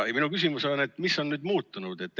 Minu küsimus on: mis on nüüd muutunud?